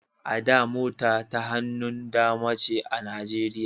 A da mota ta hannun dama ce a Nijeriya